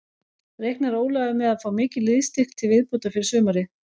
Reiknar Ólafur með að fá mikinn liðsstyrk til viðbótar fyrir sumarið?